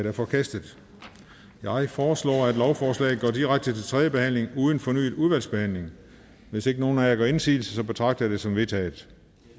er forkastet jeg foreslår at lovforslaget går direkte til tredje behandling uden fornyet udvalgsbehandling hvis ikke nogen af jer gør indsigelse betragter jeg det som vedtaget